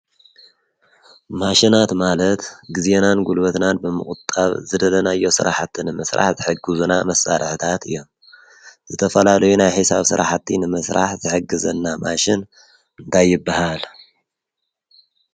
ማሽናት ማለት ጊዜናን ጕልበትናን ብምቝጣብ ዝደደናዮ ሥራሕትን ምሥራሕ ዘሕግዙና መሳረሕታት እዮም ዘተፈላሎይናይ ኂሳብ ሠራሕቲን መሥራሕ ዘሕግዘና ማሽን እንዳይብሃለ